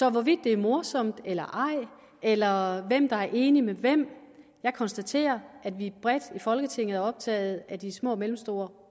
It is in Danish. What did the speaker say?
om hvorvidt det er morsomt eller ej eller hvem der er enig med hvem konstaterer jeg at vi bredt i folketinget er optaget af de små og mellemstore